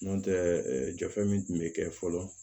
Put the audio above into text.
N'o tɛ jɔfɛn min tun bɛ kɛ fɔlɔ